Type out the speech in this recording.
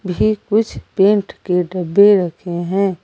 ये कुछ पेंट के डब्बे रखे है।